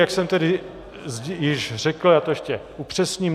Jak jsem tedy již řekl, já to ještě upřesním.